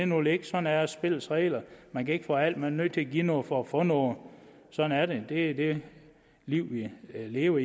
nu ligge sådan er spillets regler man kan ikke få alt man er nødt til at give noget for at få noget sådan er det det er det liv vi lever